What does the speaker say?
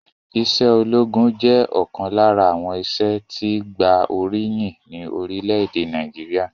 Ìṣe ológun jẹ́ ọ̀kan lára àwọn iṣẹ́ tí gba oríyìn ni orílẹ̀èdè Nàìjíríà